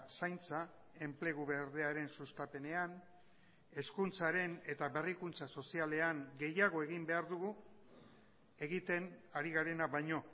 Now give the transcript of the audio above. zaintza enplegu berdearen sustapenean hezkuntzaren eta berrikuntza sozialean gehiago egin behar dugu egiten ari garena baino